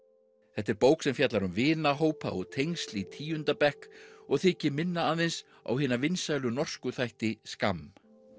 þetta er bók sem fjallar um vinahópa og tengsl í tíunda bekk og þykir minna aðeins á hina vinsælu norsku þætti Skam